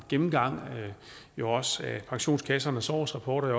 gennemgang af pensionskassernes årsrapporter